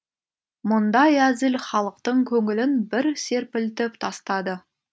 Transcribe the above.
мұндай әзіл халықтың көңілін бір серпілтіп тастады